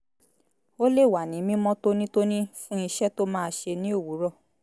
ó lè wà ní mímọ́ tónítóní fún iṣẹ́ tó máa ṣẹ ní òwúrọ̀